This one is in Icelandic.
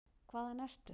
Hvaðan ertu?